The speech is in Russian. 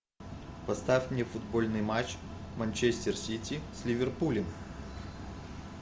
поставь мне футбольный матч манчестер сити с ливерпулем